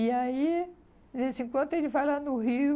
E aí, de vez em quando ele vai lá no Rio,